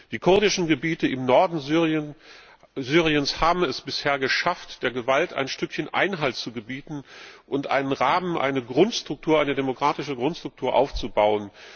Die kurdischen Gebiete im Norden Syriens haben es bisher geschafft, der Gewalt ein Stückchen Einhalt zu gebieten und einen Rahmen, eine demokratische Grundstruktur aufzubauen.